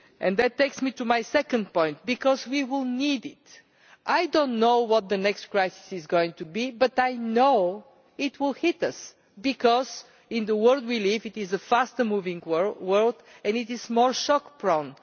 That takes me to my second point, because we will need it. I do not know what the next crisis is going to be, but I know it will hit us because the world we live in is a fast moving world, and it is shock-prone.